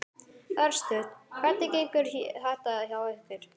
Örstutt, hvernig gengur þetta hjá ykkur?